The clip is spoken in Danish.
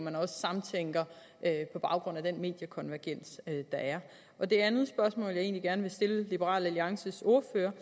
at man samtænker på baggrund af den mediekonvergens der er det andet spørgsmål jeg egentlig gerne vil stille liberal alliances ordfører